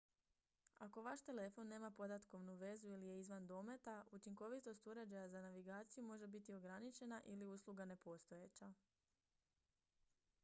ako vaš telefon nema podatkovnu vezu ili je izvan dometa učinkovitost uređaja za navigaciju može biti ograničena ili usluga nepostojeća